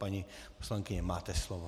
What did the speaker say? Paní poslankyně, máte slovo.